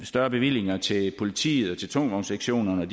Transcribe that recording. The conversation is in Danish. større bevillinger til politiet og til tungvognssektionerne